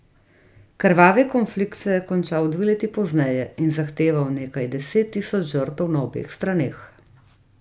Krvavi konflikt se je končal dve leti pozneje in zahteval nekaj deset tisoč žrtev na obeh straneh.